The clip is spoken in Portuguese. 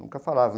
Nunca falavam.